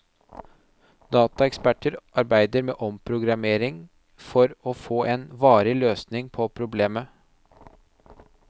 Dataeksperter arbeider med omprogrammering for å få en varig løsning på problemet.